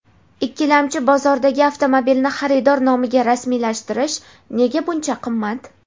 Ikkilamchi bozordagi avtomobilni xaridor nomiga rasmiylashtirish nega buncha qimmat?.